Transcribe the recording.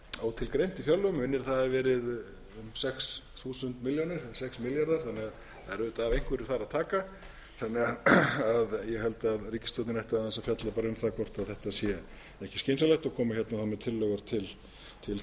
ótilgreint í fjárlögum mig minnir að það hafi verið um sex milljarðar þannig að það er auðvitað af einhverju þar að taka ég held að ríkisstjórnin ætti aðeins að fjalla um það hvort þetta sé ekki skynsamlegt og koma þá með tillögur til þingsins